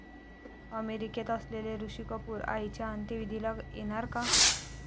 अमेरिकेत असलेले ऋषी कपूर आईच्या अंत्यविधीला येणार का?